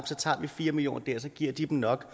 så tager vi fire million kroner der og så giver de dem nok